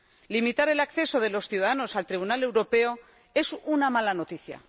Limitar el acceso de los ciudadanos al Tribunal Europeo es una mala noticia.